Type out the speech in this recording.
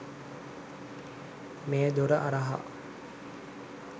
මේ දොර හරහා